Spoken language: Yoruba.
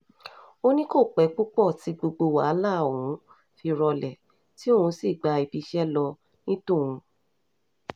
ó ní kò pẹ́ púpọ̀ tí gbogbo wàhálà ọ̀hún fi rọlẹ̀ tí òun sì gba ibiiṣẹ́ ló ní tòun